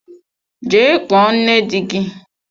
Jee kpọọ nne di gị!